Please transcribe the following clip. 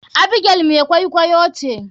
Abigail mai kwaikwaiyo ce.